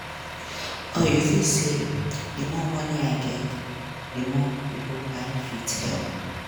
or you fit say: di more money i get di more pipo i fit help.